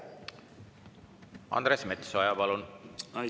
Andres Metsoja, palun!